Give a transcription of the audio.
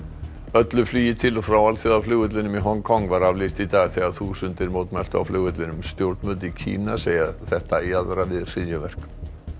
öllu flugi til og frá alþjóðaflugvellinum í Hong Kong var aflýst í dag þegar þúsundir mótmæltu á flugvellinum stjórnvöld í Kína segja þetta jaðra við hryðjuverk